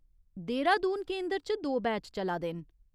देहरादून केंदर च दो बैच चला दे न।